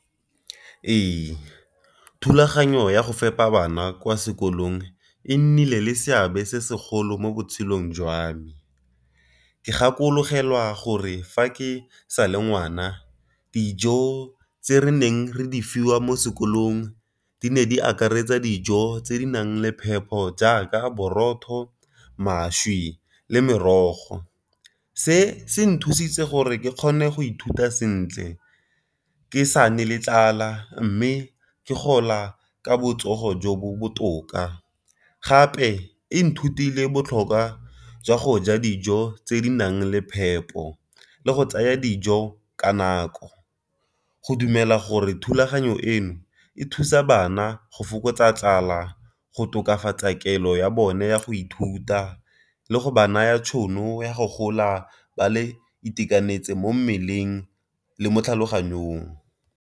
Ee, thulaganyo ya go fepa bana kwa sekolong e nnile le seabe se segolo mo botshelong jwa me, ke gakologelwa gore fa ke sa le ngwana dijo tse re neng re di fiwa mo sekolong di ne di akaretsa dijo tse di nang le phepho jaaka borotho, mašwi, le merogo, se se nthusitse gore ke kgone go ithuta sentle ke sa ne le tlala mme ke gola ka botsogo jo bo botoka. Gape e nthutile botlhokwa jwa go ja dijo tse di nang le phepo le go tsaya dijo ka nako go dumela gore thulaganyo eno e thusa bana go fokotsa tlala, go tokafatsa kelelo ya bone ya go ithuta, le go ba naya tšhono ya go gola ba le itekanetse mo mmeleng le mo tlhaloganyong.